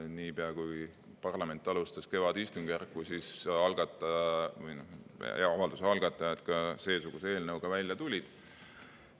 Niipea kui parlament alustas kevadistungjärku, avalduse algatajad ka seesuguse eelnõuga välja tulid.